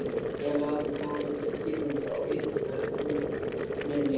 Fleira hafði borið til tíðinda á ytri höfninni.